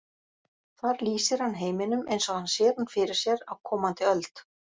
Þar lýsir hann heiminum eins og hann sér hann fyrir sér á komandi öld.